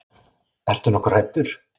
Ertu nokkuð hræddur?